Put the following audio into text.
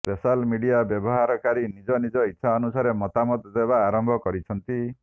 social media ବ୍ୟବହାରକାରୀ ନିଜ ନିଜ ଇଚ୍ଛା ଅନୁସାରେ ମତାମତ ଦେବା ଆରମ୍ଭ କରିଛନ୍ତି